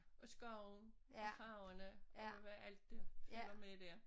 Og skoven og farverne og med hvad alt der følger med dér